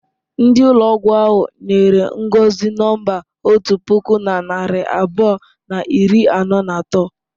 Ndi ụlọgwụ ahụ nyere Ngọzi nọmba otu puku na narị abụọ na iri anọ na atọ.